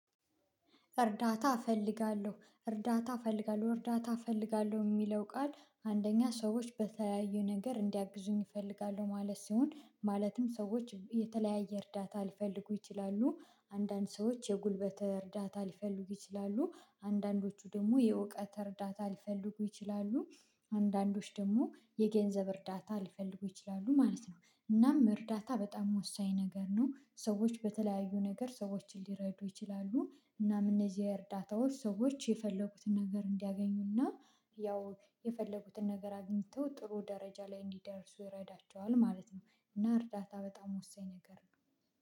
እርዳታ እፈልጋለሁ እርዳታ እፈልጋለሁ እርዳታ እፈልጋለሁ የሚለው ቃል አንደኛ ሰዎች በተለያዩ ነገር እንዲያግዙኝ እፈልጋለሁ ማለት ሲሆን ማለትም ሰዎች የተለያየ እርዳታ አልፈልጉ ይችላሉ አንዳንድ ሰዎች የጉልበት እርዳታ ሊፈልጉ ይችላሉ አንዳንዶቹ ደግሞ የእውቀት እርዳታ ሊፈልጉ ይችላሉ አንዳንዶች ደግሞ የገንዘብ እርዳታ ሊፈልጉ ይችላሉ ማለት ነው። እናም እርዳታ በጣም ወሳኝ ነገር ነው። ሰዎች በተለያዩ ነገር ሰዎችን ሊረዱ ይችላሉ እናም እነዚህ እርዳታዎች ሰዎች የፈለጉትን ነገር እንዲያገኙና ያው የፈለጉትን ነገር አግኝተው ጥሩ ደረጃ ላይ እንዲደርሱ ይረዳቸዋል ማለት ነው። እና እርዳታ በጣም ወሳኝ ነገር ነው።